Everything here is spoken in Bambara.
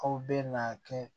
Aw bɛ na kɛ